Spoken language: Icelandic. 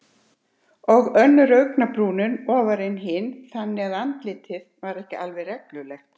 Og önnur augabrúnin ofar en hin, þannig að andlitið var ekki alveg reglulegt.